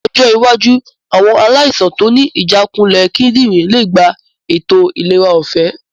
Ní ọjọ́ iwájú. àwọn aláìsàn tó ní ìjákulẹ̀ kídìnrín lè gba ètò ìlera ọ̀fẹ́